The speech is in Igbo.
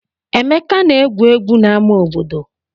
Emeka na-egwu egwu n'ama obodo.